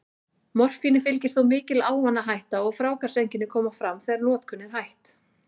Morfíni fylgir þó mikil ávanahætta, og fráhvarfseinkenni koma fram þegar notkun er hætt.